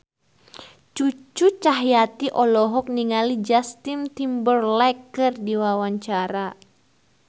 Cucu Cahyati olohok ningali Justin Timberlake keur diwawancara